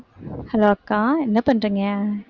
hello அக்கா என்ன பண்றீங்க